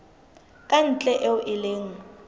ka ntle eo e leng